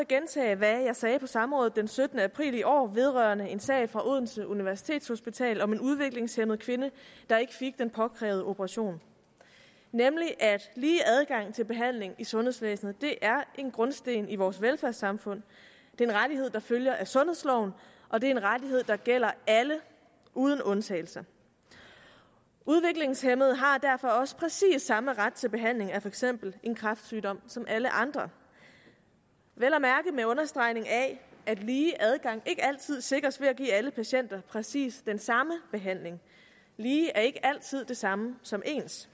gentage hvad jeg sagde i samrådet den syttende april i år vedrørende en sag fra odense universitetshospital om en udviklingshæmmet kvinde der ikke fik den påkrævede operation nemlig at lige adgang til behandling i sundhedsvæsenet er en grundsten i vores velfærdssamfund det er en rettighed der følger af sundhedsloven og det er en rettighed der gælder alle uden undtagelse udviklingshæmmede har derfor også præcis samme ret til behandling af for eksempel en kræftsygdom som alle andre vel at mærke med understregning af at lige adgang ikke altid sikres ved at give alle patienter præcis den samme behandling lige er ikke altid det samme som ens